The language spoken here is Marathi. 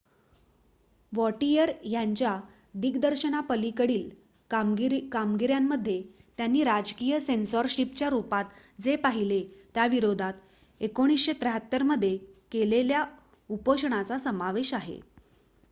वॉटिअर यांच्या दिग्दर्शनापलीकडील कामगिऱ्यांमध्ये त्यांनी राजकीय सेन्सॉरशिपच्या रुपात जे पाहिले त्याविरोधात १९७३ मध्ये केलेल्या उपोषणाचा समावेश आहे